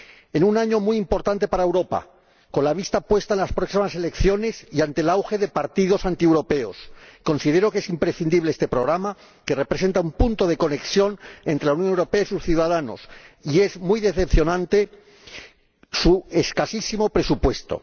En un año muy importante para Europa, con la vista puesta en las próximas elecciones, y ante el auge de partidos antieuropeos, considero imprescindible este programa, que representa un punto de conexión entre la Unión Europea y sus ciudadanos, y muy decepcionante su escasísimo presupuesto.